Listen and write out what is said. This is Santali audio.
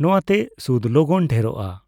ᱱᱚᱣᱟᱛᱮ ᱥᱩᱫᱽ ᱞᱚᱜᱚᱱ ᱰᱷᱮᱨᱚᱜᱼᱟ ᱾